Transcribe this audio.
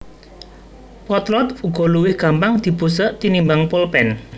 Potlot uga luwih gampang dibusek tinimbang polpèn